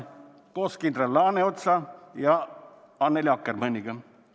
Ta küsib seda koos kindral Laaneotsa ja Annely Akkermanniga.